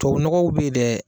Tobabu nɔgɔw bɛ yen dɛ.